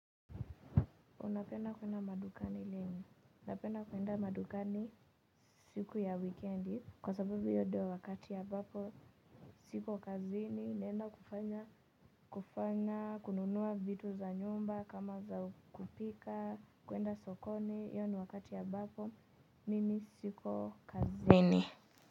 Unapenda kwenda madukani lini? Napenda kwenda madukani siku ya wikiendi. Kwa sababu hiyo ndiyo wakati ambapo sipo kazini naenda kufanya, kufanya, kununua vitu za nyumba, kama za kupika, kuenda sokoni iyo ni wakati abapo. Mimi siko kazi ni.